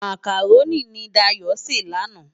Mákáróni ni Dayo sé làná